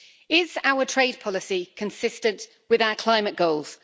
Is our trade policy consistent with our climate goals?